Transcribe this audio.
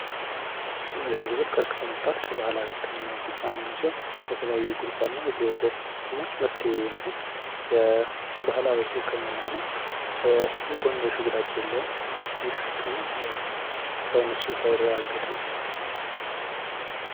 ዝንጅብል ቀጥቅጦ መጠጣት ከባህላዊ ህክምናወች ዉስጥ አንዴኛው ሲሆን የባህላዊ ህክምና ነው። የጎንዮሽ ጉዳት የለውም። ይህ ህክምና በሳይንሱ ባይረጋገጥም።